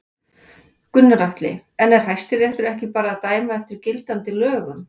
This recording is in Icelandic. Gunnar Atli: En er Hæstiréttur ekki bara að dæma eftir gildandi lögum?